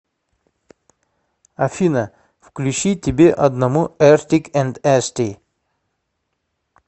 афина включи тебе одному эртик энд эсти